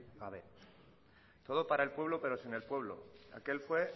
gabe todo para el pueblo pero sin el pueblo aquel fue